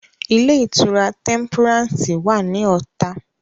Ilé-ìtura Tẹ́ḿpúrànsì wà ní Ọ̀tà.